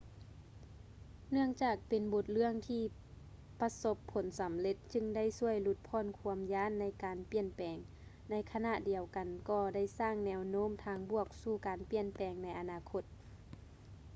ເນື່ອງຈາກເປັນບົດເລື່ອງທີ່ປະສົບຜົນສຳເລັດຈຶ່ງໄດ້ຊ່ວຍຫຼຸດຜ່ອນຄວາມຢ້ານໃນການປ່ຽນແປງ ໃນຂະນະດຽວກັນກໍໄດ້ສ້າງແນວໂນ້ມທາງບວກສູ່ການປ່ຽນແປງໃນອະນາຄົດ